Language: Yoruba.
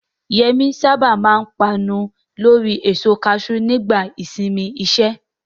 Yemi sábà máa ń panu lórí èso kaṣú nígbà ìsinmi iṣẹ́.